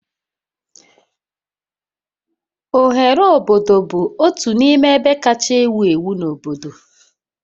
Oghere obodo bụ otu n'ime ebe kacha ewu ewu na obodo